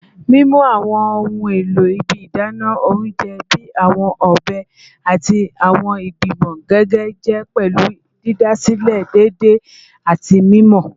Mimu awọn ohun elo ibi idana ounjẹ bii awọn ọbẹ ati awọn igbimọ gige jẹ pẹlu didasilẹ deede ati mimọ